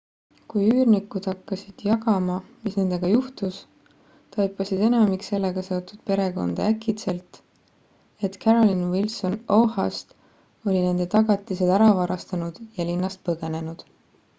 kui üürnikud hakkasid jagama mis nendega juhtus taipasid enamik sellega seotud perekondi äkitselt et carolyn wilson oha-st oli nende tagatised ära varastanud ja linnast põgenenud